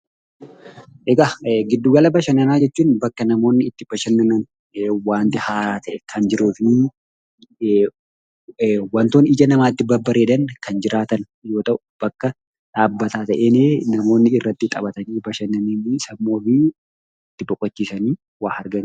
Egaa gidduugalaa bashananaa jechuun; bakka namooni itti bashananan wanti haaraa ta'e Kan jiruufi wantoonni ija namatti babareedan Kan jiraatan yoo ta'u bakka dhaabbataa ta'eni namooni irraati taphaatani bashananani sammuu ofii itti boqochisani itti waa arganidha